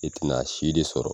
I tina si de sɔrɔ